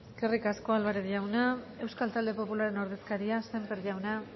eskerrik asko álvarez jauna euskal talde popularraren ordezkaria sémper jauna